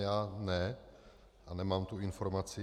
Já ne a nemám tu informaci.